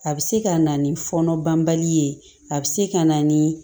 A bɛ se ka na ni fɔnɔ banbali ye a bɛ se ka na ni